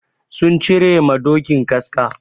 Sun cire ma dokin kaska.